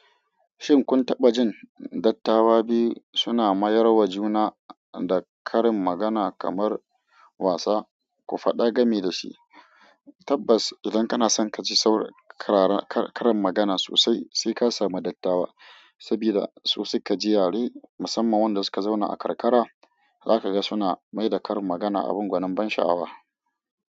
Shin kun taɓa jin dattawa biyu suna mayarwa juna da karin magana kamar wasa? Ku faɗa game da shi. Tabbas, idan kana son ka ji saur-- karara ka karin magana sosai sai ka sami dattawa, sabida su suka ji yare, musamman wanda suka zauna a karkara, za ka ga suna mai da karin magana abin gwanin ban sha'awa.